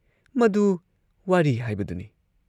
ꯃꯗꯨ ꯋꯥꯔꯤ ꯍꯥꯏꯕꯗꯨꯅꯤ ꯫